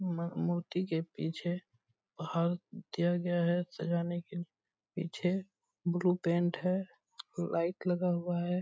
म मूर्ति के पीछे पहाड़ दिया गया है सिरहाने के पीछे ब्लू पेंट है लाइट लगा हुआ है।